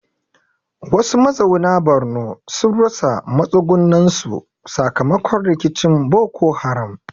Wasu mazauna Borno sun rasa matsugunansu sakamakon rikicin Boko Haram.